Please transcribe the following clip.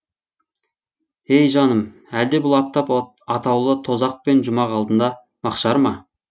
ей жаным әлде бұл аптап атаулы тозақ пен жұмақ алдында маһшар ма